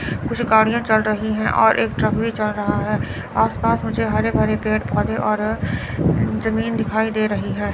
कुछ गाड़ियां चल रही है और एक ट्रक भी चल रहा है। आसपास मुझे हरे भरे पेड़ पौधे और जमीन दिखाई दे रही है।